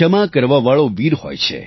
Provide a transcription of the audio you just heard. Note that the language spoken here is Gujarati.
ક્ષમા કરવાવાળો વીર હોય છે